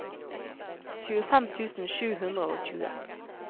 tjuefem tusen sju hundre og tjue